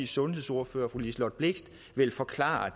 sundhedsordfører fru liselott blixt vil forklare